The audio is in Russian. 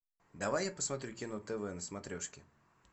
давай я посмотрю кино тв на смотрешке